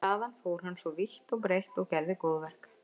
Þaðan fór hann svo vítt og breitt og gerði góðverk.